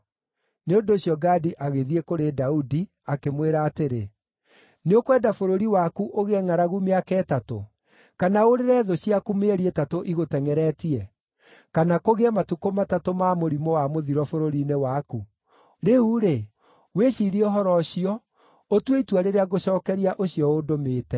Nĩ ũndũ ũcio Gadi agĩthiĩ kũrĩ Daudi, akĩmwĩra atĩrĩ, “Nĩũkwenda bũrũri waku ũgĩe ngʼaragu mĩaka ĩtatũ? Kana ũũrĩre thũ ciaku mĩeri ĩtatũ igũtengʼeretie? Kana kũgĩe matukũ matatũ ma mũrimũ wa mũthiro bũrũri-inĩ waku? Rĩu-rĩ, wĩciirie ũhoro ũcio ũtue itua rĩrĩa ngũcookeria ũcio ũndũmĩte.”